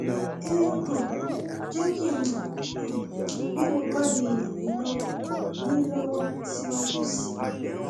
ẹ um jẹ kí n mọ um bí mo bá lè ràn yín lọwọ yín lọwọ síwájú sí i